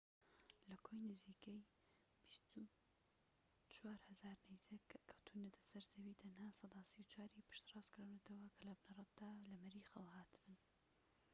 لە کۆی نزیکەی ٢٤٠٠٠ نەیزەك کە کەوتونەتە سەر زەوی، تەنها سەدا ٣٤ پشتڕاستکراونەتەوە کە لە بنەڕەتدا لە مەریخەوە هاتبن